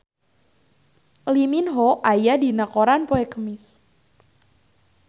Lee Min Ho aya dina koran poe Kemis